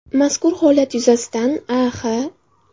Mazkur holat yuzasidan A.X.